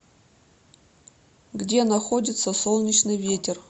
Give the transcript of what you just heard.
где находится солнечный ветер